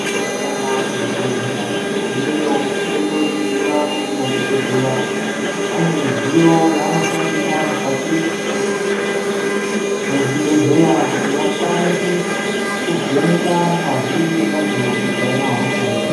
Tika enda ku zvi bhedhleya tino gumeyo toto ningira kuti madhokoteya ane midziyo yaano shandisa mukati me zvibhedhleya kuti vakwanise ku vheneka ngazi ye muntu kuti ayina hosha ere.